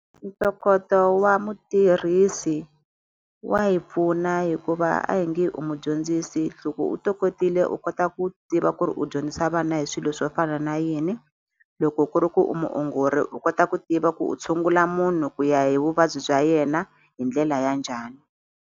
Ntokoto wa mutirhisi wa hi pfuna hikuva a hi nge u mudyondzisi loko u tokotile u kota ku tiva ku ri u dyondzisa vana hi swilo swo fana na yini loko ku ri ku u muongori u kota ku tiva ku u tshungula munhu ku ya hi vuvabyi bya yena hi ndlela ya njhani.